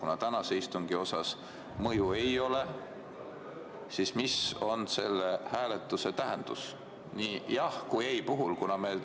Kuna tänasele istungile sellel mõju ei ole, siis mis on selle hääletuse tähendus nii jah- kui ka ei-vastuse puhul?